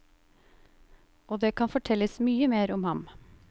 Og det kan fortelles mye mer om ham.